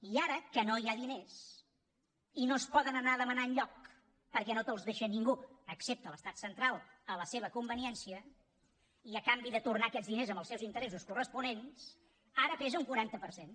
i ara que no hi ha diners i no es poden anar a demanar enlloc perquè no te’ls deixa ningú excepte l’estat central a la seva conveniència i a canvi de tornar aquests diners amb els seus interessos corresponents ara pesa un quaranta per cent